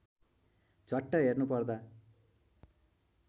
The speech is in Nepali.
झ्वाट्ट हेर्नुपर्दा